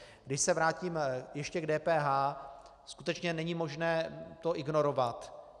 Když se vrátím ještě k DPH, skutečně není možné to ignorovat.